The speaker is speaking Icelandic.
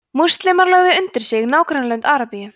múslímar lögðu undir sig nágrannalönd arabíu